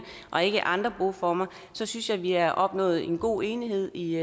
og ikke andre boformer så synes jeg vi har opnået en god enighed i